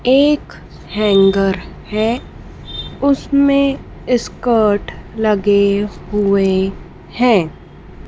एक हैंगर है उसमें स्कर्ट लगे हुए हैं।